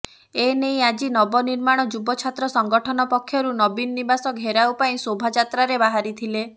ଏନେଇ ଆଜି ନବନିର୍ମାଣ ଯୁବ ଛାତ୍ର ସଂଗଠନ ପକ୍ଷରୁ ନବୀନ ନିବାସ ଘେରାଉ ପାଇଁ ଶୋଭାଯାତ୍ରାରେ ବାହାରିଥିଲେ